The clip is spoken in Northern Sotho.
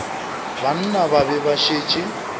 banna ba be ba šetše